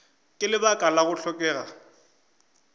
ka lebaka la go hlokega